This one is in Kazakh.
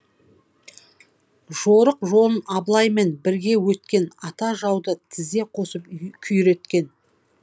жорық жолын абылаймен бірге өткен ата жауды тізе қосып күйреткен